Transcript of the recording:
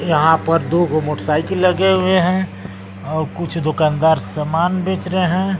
यहां पर दो गो मोटरसाइकिल लगे हुए हैं और कुछ दुकानदार समान बेच रहे हैं।